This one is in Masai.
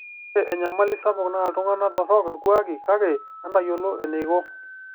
Ore eyamali sapuk naa iltungana torok ilkuaki, kake etayiolo eneiko.